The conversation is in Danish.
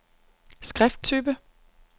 skrifttype